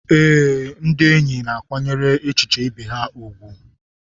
Ee, ndị enyi na-akwanyere echiche ibe ha ùgwù.